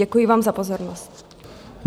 Děkuji vám za pozornost.